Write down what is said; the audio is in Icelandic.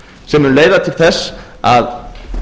sem mun leiða til þess að